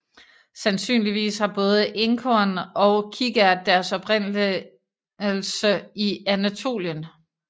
Sandsynligvis har både Enkorn og Kikært deres oprindelse i Anatolien